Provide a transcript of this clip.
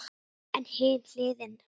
En hin hliðin.